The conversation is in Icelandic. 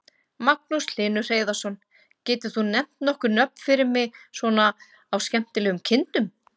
Magnús Hlynur Hreiðarsson: Getur þú nefnt nokkur nöfn fyrir mig svona á skemmtilegum kindum?